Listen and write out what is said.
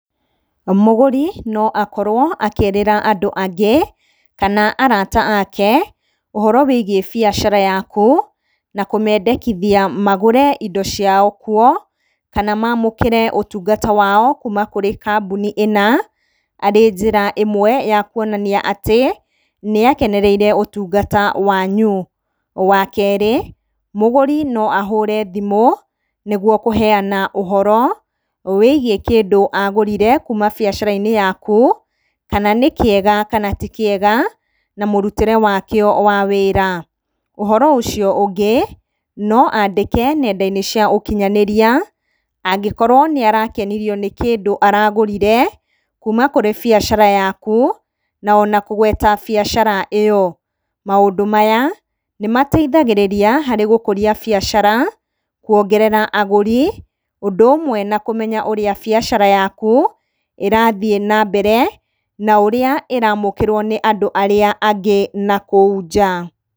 Mũguri no akorwo akĩĩrĩra andũ angĩ, kana arata aake ũhoro wĩgiĩ biacara yaku na kũmendekithia magũre indo ciao kuo, kana mamũkĩre ũtungata wao kuma kũrĩ kambuni ĩna arĩ njĩra ĩmwe ya kũonania atĩ nĩakenereire ũtungata wanyu. Wa keerĩ, mũguri no ahũũre thimũ nĩguo kũheana ũhoro wĩgiĩ kĩndũ agũrire kuma biacara-inĩ yaku kana nĩ kĩega kana ti kĩega, na mũrutĩre wakĩo wa wĩra. Ũhoro ũcio ũngĩ, no andĩke nenda-inĩ cia ũkinyanĩria angĩkorwo nĩ arakenirio nĩ kĩndũ aragũrire kuma kũrĩ biacara yaku na ona kũgweta biacara ĩyo. Maũndũ maya nĩ mateithagĩrĩria harĩ gũkũria biacara, kũongerera agũri, ũndũ ũmwe na kũmenya ũrĩa biacara yaku irathiĩ na mbere na ũrĩa ĩramukĩrwo nĩ andũ arĩa angĩ na kũu nja.